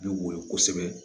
Bɛ woyo kosɛbɛ